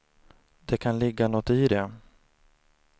Det kan ligga något i det.